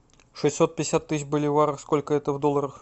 шестьсот пятьдесят тысяч боливаров сколько это в долларах